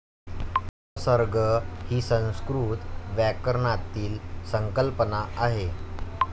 उपसर्ग ही संस्कृत व्याकरणातील संकल्पना आहे.